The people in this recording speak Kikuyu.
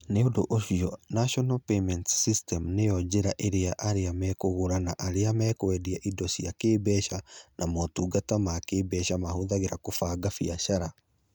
Nĩ ũndũ ũcio, National Payments System nĩyo njĩra ĩrĩa arĩa megũgũra na arĩa mekũendia indo cia kĩĩmbeca na motungata ma kĩĩmbeca mahũthagĩra kũbanga biacara.